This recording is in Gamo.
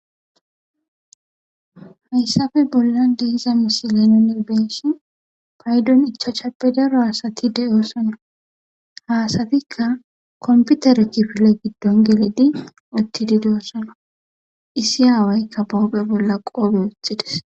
Hayssafe bolla deiza misileno nebeshi paydon icha chape daro haasati de7osono haasatikka komputere kifile giddon geledi otti di de7osona issi aawaykka boope bolla qoobe wothides